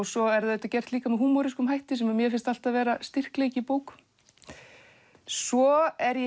svo er það gert líka með hætti sem mér finnst alltaf vera styrkleiki í bókum svo er ég